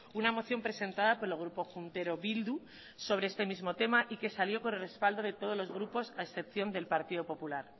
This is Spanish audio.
una moción presentada por el grupo juntero bildu sobre este mismo tema y que salió con el respaldo de todos los grupos a excepción del partido popular